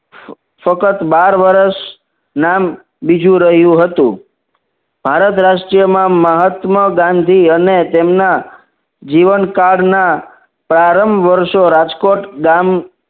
સતત બાર વર્ષ નામ બીજું રહ્યું હતું ભારત રાષ્ટ્રીયમાં મહાત્મા ગાંધી અને તેમના જીવનકાળના પ્રારંભ વર્ષો રાજકોટ ગામ